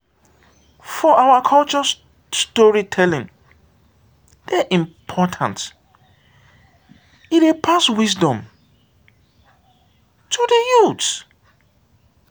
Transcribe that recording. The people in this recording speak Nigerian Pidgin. for our culture storytelling dey important; e dey pass wisdom to the youth.